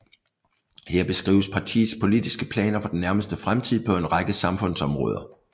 Her beskrives partiets politiske planer for den nærmeste fremtid på en række samfundsområder